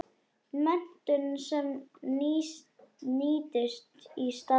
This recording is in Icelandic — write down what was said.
Menntun sem nýtist í starfi.